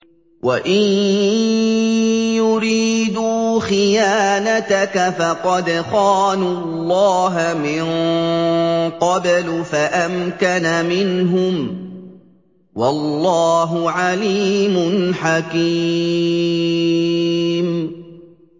وَإِن يُرِيدُوا خِيَانَتَكَ فَقَدْ خَانُوا اللَّهَ مِن قَبْلُ فَأَمْكَنَ مِنْهُمْ ۗ وَاللَّهُ عَلِيمٌ حَكِيمٌ